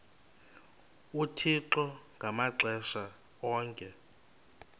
uthixo ngamaxesha onke